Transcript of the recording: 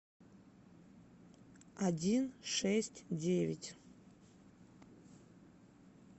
один шесть девять